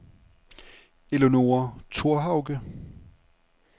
Eleonora Thorhauge